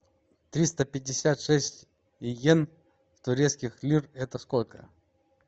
триста пятьдесят шесть йен в турецких лир это сколько